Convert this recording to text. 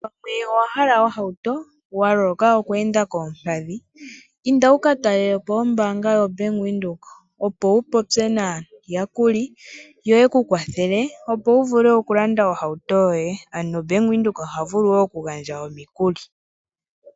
Ngele owa hala ohauto wa loloka oku enda koompadhi, inda wu ka talelepo ombaanga yo Bank Windhoek opo wu popye naayakuli, yo ye ku kwathele opo wu vule okulanda ohauto yo ye. Ano Bank Windhoek oha vulu okugandja omikuli.